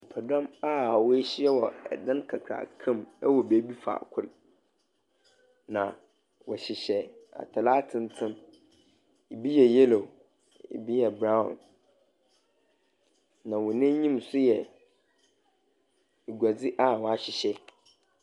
Dɔm a woehyia wɔ dan kakraka mu wɔ beebi faako, na wɔhyehyɛ atar atsentsen. Bi yɛ yellow, bi yɛ brown, na hɔn enyim nso yɛ guadzi a wɔahyehyɛ.